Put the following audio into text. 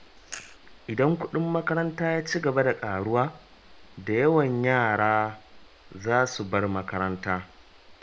Idan kuɗin makaranta ya ci gaba da ƙaruwa, da yawan yara za su bar makaranta.